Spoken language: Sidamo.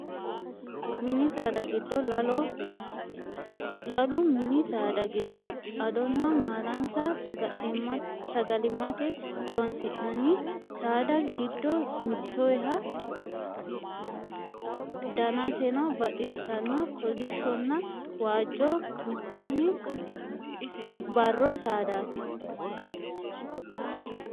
Mini saada giddo laloho. Lalu mini saada giddo adonna maalansa sagalimmate horoonsi'nanni saada giddo mittootaho. Daninsano baxisanno kolishshonna waajjo mitteenn barro saadaati.